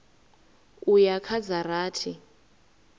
u ya kha dza rathi